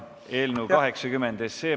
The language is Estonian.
Eelnõu 80.